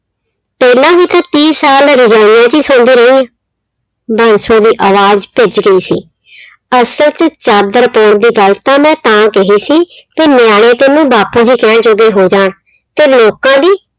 ਪਹਿਲਾਂ ਵੀ ਤਾਂ ਤੀਹ ਸਾਲ ਰਜਾਈਆਂ 'ਚ ਹੀ ਸੋਂਦੀ ਰਹੀਂ ਹਾਂ, ਬਾਂਸੋ ਦੀ ਆਵਾਜ਼ ਭਿੱਜ ਗਈ ਸੀ ਅਸਲ 'ਚ ਚਾਦਰ ਪਾਉਣ ਦੀ ਗੱਲ ਤਾਂ ਮੈਂ ਤਾਂ ਕਹੀ ਸੀ ਕਿ ਨਿਆਣੇ ਤੈਨੂੰ ਬਾਪੂ ਜੀ ਕਹਿਣ ਜੋਗੇ ਹੋ ਜਾਣ, ਤੇ ਲੋਕਾਂ ਦੀ